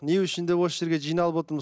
не үшін де осы жерге жиналып отырмыз